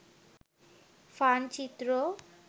fun চিত্র